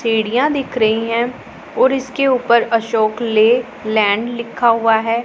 सीढ़ियां दिख रही है और इसके ऊपर अशोक लेलैंड लिखा हुआ है।